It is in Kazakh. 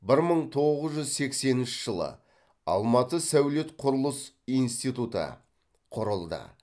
бір мың тоғыз жүз сексенінші жылы алматы сәулет құрылыс институты құрылды